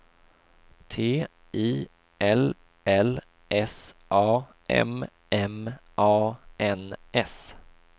T I L L S A M M A N S